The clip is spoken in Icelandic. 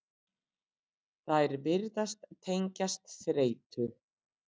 þær virðast tengjast þreytu